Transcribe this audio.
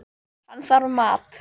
Hann þarf mat.